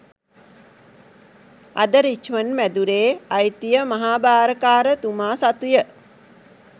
අද රිච්මන්ඞ් මැදුරේ අයිතිය මහාභාරකාර තුමා සතුය